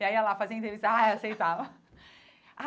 E aí ela ia lá fazer a entrevista ai aceitava.